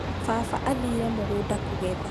Baba athire mũgũnda kũgetha